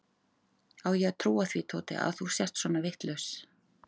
Á ég að trúa því, Tóti, að þú sért svona vitlaus?